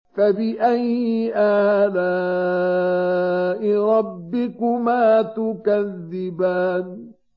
فَبِأَيِّ آلَاءِ رَبِّكُمَا تُكَذِّبَانِ